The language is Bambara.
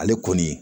Ale kɔni